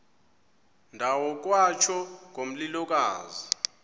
ndawo kwatsho ngomlilokazi